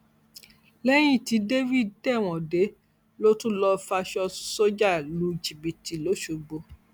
lẹyìn tí david tẹwọn dé ló tún lọọ faṣọ sójà lu jìbìtì lọsọgbò